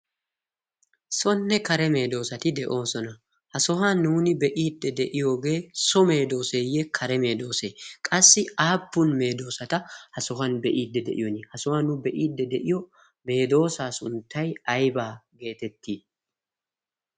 sonne kare meedoosati de7oosona. ha sohuwan nuuni be7iidde de7iyoogee so meedooseeyye kare meedoosee? qassi aappun meedoosata ha sohuwan be7iidde de7iyooni? ha sohuwan nu be7iidde de7iyo meedoosaa sunttai aibaa geetettii?